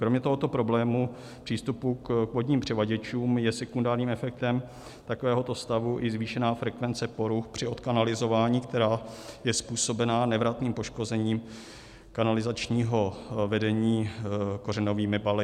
Kromě tohoto problému přístupu k vodním přivaděčům je sekundárním efektem takovéhoto stavu i zvýšená frekvence poruch při odkanalizování, která je způsobena nevratným poškozením kanalizačního vedení kořenovými baly.